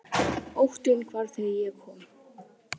Óttinn hvarf þegar ég kom.